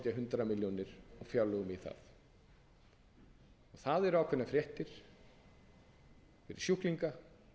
hundrað milljónir í fjárlögum í það það eru ákveðnar fréttir fyrir sjúklinga